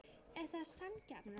Er það sanngjarnt?